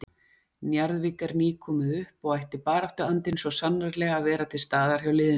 Njarðvík er nýkomið upp og ætti baráttuandinn svo sannarlega að vera til staðar hjá liðinu.